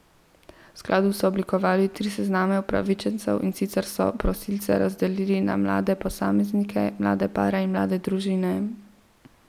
V skladu so oblikovali tri sezname upravičencev, in sicer so prosilce razdelili na mlade posameznike, mlade pare in mlade družine.